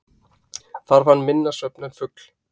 Þarf hann minna svefn en fugl.